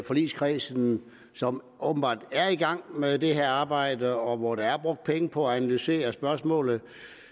i forligskredsen som åbenbart er i gang med det her arbejde og hvor der er brugt penge på at analysere spørgsmålet